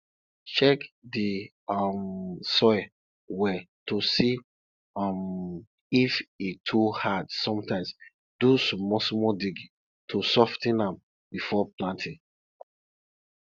check di um soil well to see um if e too hard sometimes do smallsmall digging to sof ten am before planting